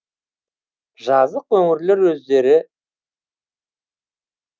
жазық өңірлер өздері